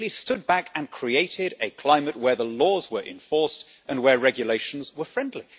It simply stood back and created a climate where the laws were enforced and where regulations were friendly.